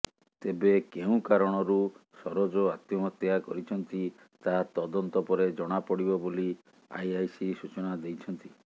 ତେବେ କେଉଁ କାରଣରୁ ସରୋଜ ଆତ୍ମହତ୍ୟା କରିଛନ୍ତି ତାହା ତଦନ୍ତ ପରେ ଜଣାପଡିବ ବୋଲି ଆଇଆଇସି ସୂଚନା ଦେଇଛନ୍ତି